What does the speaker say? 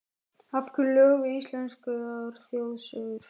Af hverju lög við íslenskar þjóðsögur?